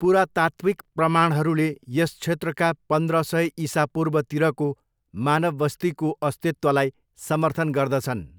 पुरातात्त्विक प्रमाणहरूले यस क्षेत्रका पन्द्र सय इसापूर्वतिरको मानव बस्तीको अस्तित्वलाई समर्थन गर्दछन्।